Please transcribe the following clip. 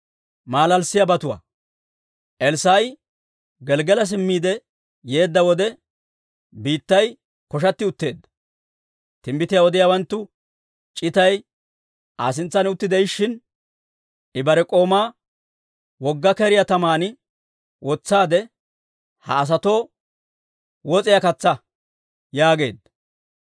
Elssaa'i Gelggala simmiide yeedda wode, biittay koshatti utteedda. Timbbitiyaa odiyaawanttu c'itay Aa sintsan utti de'ishshin, I bare k'oomaa, «Wogga keriyaa taman wotsaade, ha asatoo wos'iyaa katsaa» yaageedda.